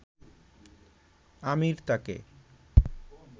আমির তাকে